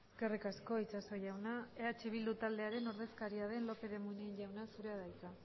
eskerrik asko itxaso jauna eh bildu taldearen ordezkaria den lópez de munain jauna zurea da hitza